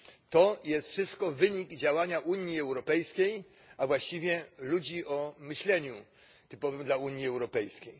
To jest wszystko wynik działania Unii Europejskiej, a właściwie ludzi o myśleniu typowym dla Unii Europejskiej.